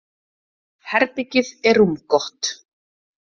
Herbergið er rúmgott.